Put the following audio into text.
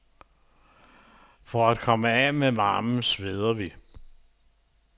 For at komme af med varmen sveder vi.